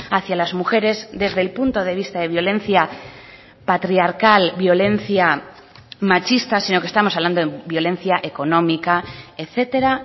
hacia las mujeres desde el punto de vista de violencia patriarcal violencia machista sino que estamos hablando de violencia económica etcétera